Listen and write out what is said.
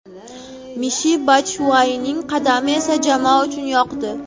Mishi Batshuayining qadami esa jamoa uchun yoqdi.